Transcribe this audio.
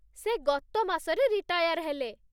ସେ ଗତ ମାସରେ ରିଟାୟାର୍ ହେଲେ ।